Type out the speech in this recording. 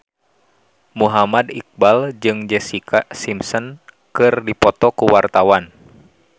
Muhammad Iqbal jeung Jessica Simpson keur dipoto ku wartawan